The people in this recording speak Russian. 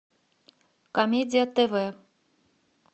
комедия тв